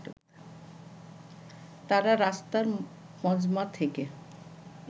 তারা রাস্তার মজমা থেকে